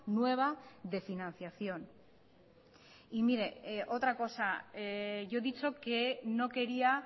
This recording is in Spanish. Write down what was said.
nueva de financiación y mire otra cosa yo he dicho que no quería